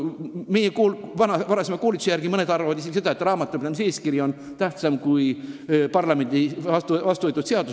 Meid on kunagi koolitatud nii, et paljud arvavad isegi seda, et raamatupidamiseeskiri on tähtsam kui parlamendis vastu võetud seadus.